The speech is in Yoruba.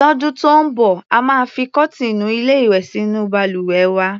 Lọ́dún tó ń bọ̀, a máa fi kọ́tíìnù-ilé-ìwè sínú balùwẹ̀ wa.